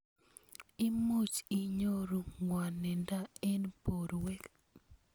Imuch inyoru ng'wanindo eng borwek